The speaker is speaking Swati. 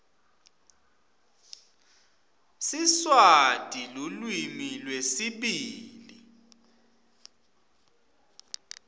siswati lulwimi lwesibili